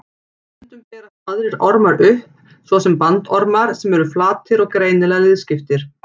Stundum berast aðrir ormar upp, svo sem bandormar sem eru flatir og greinilega liðskiptir.